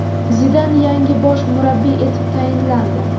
Zidan yangi bosh murabbiy etib tayinlandi.